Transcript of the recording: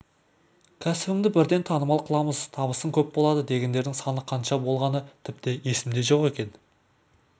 кәсібіңді бірден танымал қыламыз табысың көп болады дегендердің саны қанша болғаны тіпті есімде жоқ мен